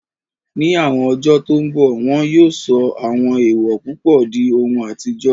Ní àwọn ọjọ́ tó n bọ̀, wọn yóò sọ àwọn èèwò púpọ̀ di ohun àtijọ́